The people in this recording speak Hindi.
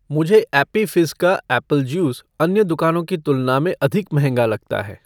मुझे ऐप्पी फ़िज़्ज़ का ऐप्पल जूस अन्य दुकानों की तुलना में अधिक महंगा लगता है